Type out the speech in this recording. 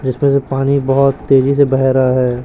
जीसमें से पानी बहोत तेजी से बहे रहा है।